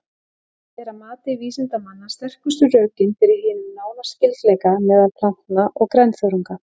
Þetta er að mati vísindamanna sterkustu rökin fyrir hinum nána skyldleika meðal plantna og grænþörunga.